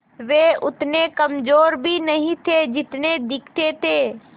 वे उतने कमज़ोर भी नहीं थे जितने दिखते थे